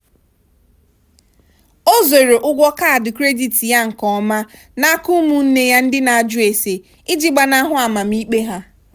o zoro ụgwọ kaadị kredit ya nke ọma n'aka ụmụnne ya ndị na-ajụ ase iji gbanahụ amamikpe ha.